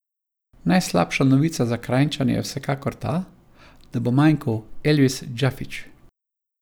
Najslabša novica za Kranjčane je vsekakor ta, da bo manjkal Elvis Džafić.